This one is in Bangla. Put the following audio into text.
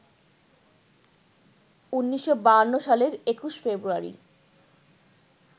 ১৯৫২ সালের ২১ ফেব্রুয়ারি